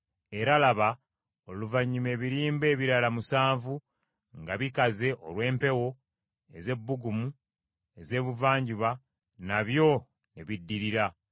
Era laba oluvannyuma ebirimba ebirala musanvu nga bikaze olw’empewo ez’ebbugumu ez’ebuvanjuba nabyo ne biddirira.